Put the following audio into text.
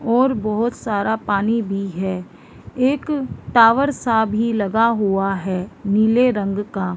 और बहुत सारा पानी भी है एक टॉवर सा भी लगा हुआ है नीले रंग का --